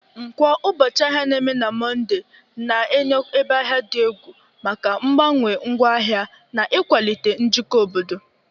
Nkwo, ụbọchị ahịa, na-eme na Mọnde, na-enye ebe ahịa dị egwu maka mgbanwe ngwaahịa na ịkwalite njikọ obodo